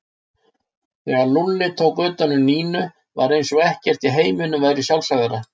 Þegar Lúlli tók utan um Nínu var eins og ekkert í heiminum væri sjálfsagðara.